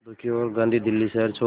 दुखी होकर गांधी दिल्ली शहर छोड़